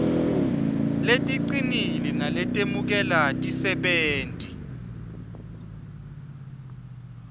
leticinile naletemukela tisebenti